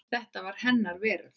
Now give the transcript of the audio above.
Þetta var hennar veröld.